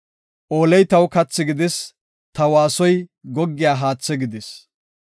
Ooley taw kathi gidis; ta waasoy goggiya haathi gidis.